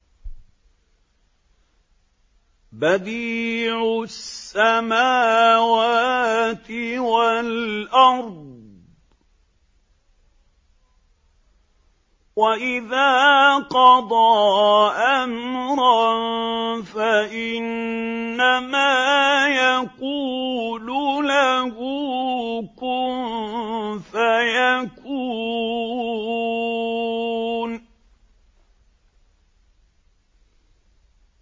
بَدِيعُ السَّمَاوَاتِ وَالْأَرْضِ ۖ وَإِذَا قَضَىٰ أَمْرًا فَإِنَّمَا يَقُولُ لَهُ كُن فَيَكُونُ